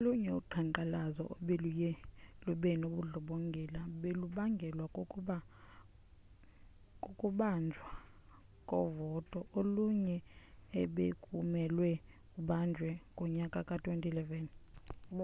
olunye uqhankqalazo obeluye lubendlongondlongo belubangelwa kukungabanjwa kovoto olunye ebekumelwe kubanjwe ngonyaka ka-2011